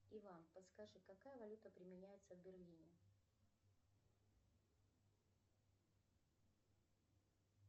иван подскажи какая валюта применяется в берлине